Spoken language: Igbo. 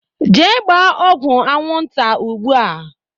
Jee gbaa ọgwụ anwụ nta ụgbụa!